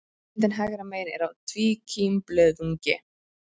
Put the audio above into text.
Myndin hægra megin er af tvíkímblöðungi.